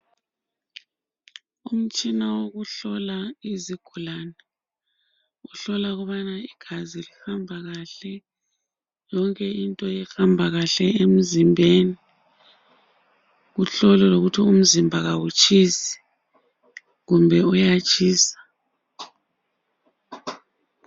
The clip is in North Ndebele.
Umtshina wokuhlola izigulane. Uhlola ukubana igazi lihamba kahle, yonke into ihamba kahle emzimbeni. Kuhlolwa lokuthi umzimba kawutshisi kumbe uyatshisa.